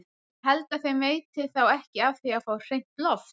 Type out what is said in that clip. Ég held að þeim veiti þá ekki af því að fá hreint loft!